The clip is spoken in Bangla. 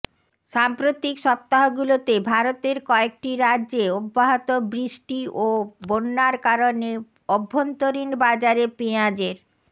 সাম্প্রতিক সপ্তাহগুলোতে ভারতের কয়েকটি রাজ্যে অব্যাহত বৃষ্টি ও বন্যার কারণে অভ্যন্তরীণ বাজারে পেঁয়াজের